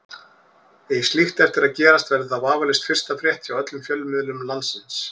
Eigi slíkt eftir að gerast verður það vafalaust fyrsta frétt hjá öllum fjölmiðlum landsins.